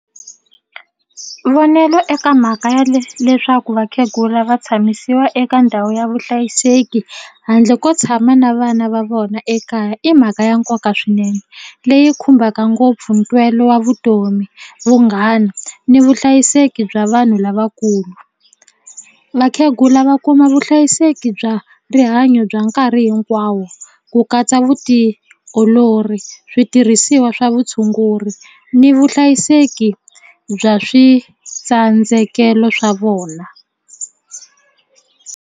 Vonelo eka mhaka ya leswaku vakhegula va tshamisiwa eka ndhawu ya vuhlayiseki handle ko tshama na vana va vona ekaya i mhaka ya nkoka swinene leyi khumbaka ngopfu ntwelo wa vutomi vunghana ni vuhlayiseki bya vanhu lavakulu vakhegula va kuma vuhlayiseki bya rihanyo bya nkarhi hinkwawo ku katsa vutiolori switirhisiwa swa vutshunguri ni vuhlayiseki bya switsandzekelo swa vona.